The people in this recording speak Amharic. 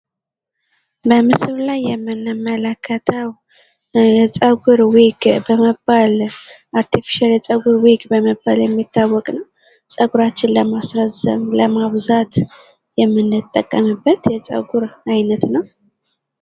በምስሉ ላይ የምንመለከተው ፀጉር ዊግ በመባል አርቴፊሻል የፀጉር ዊግ በመባል የሚታወቅ ነው ። ፀጉራችን ለማስረዘም ለማብዛት የምንጠቀምበት የፀጉር አይነት ነው ።